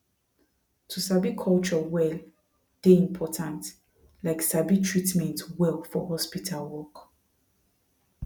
to sabi culture well dey important like sabi treatment well for hospital work